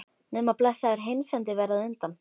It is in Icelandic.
Nema blessaður heimsendir verði á undan.